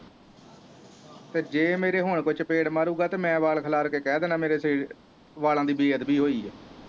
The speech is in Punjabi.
ਤੇ ਜ ਮੇਰੇ ਹੁਣ ਕੋਈ ਚਪੇੜ ਮਾਰੁ ਗਾ ਤੇ ਮੈਂ ਵਾਲ ਖਿਲਾਰ ਕ ਕਿਹ ਦੇਣਾ ਮੇਰੇ ਵਾਲਾਂ ਦੀ ਬੇਦਬੀ ਹੋਈ ਆ